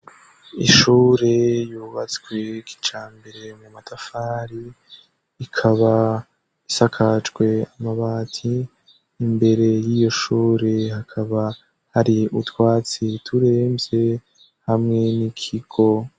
Ishure yubatswe kicambere mu matafari ikaba isakacwe amabati imbere y'iyo shure hakaba hari utwatsi turemvye hamwe n'ikigo.